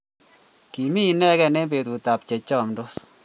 Ki mi inegei eng betut ab chechamdos